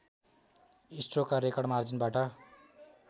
स्ट्रोकका record मार्जिनबाट